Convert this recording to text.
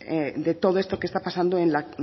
de todo esto que está pasando en la